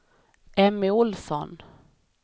Emmy Ohlsson